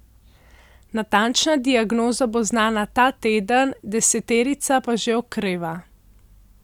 Natančna diagnoza bo znana ta teden, deseterica pa že okreva.